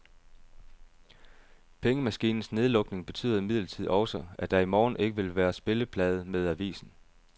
Pengemaskinens nedlukning betyder imidlertid også, at der i morgen ikke vil være spilleplade med avisen.